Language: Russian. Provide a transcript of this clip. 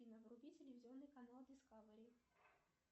афина вруби телевизионный канал дискавери